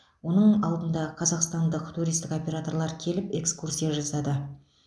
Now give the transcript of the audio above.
оның алдында қазақстандық туристік операторлар келіп экскурсия жасады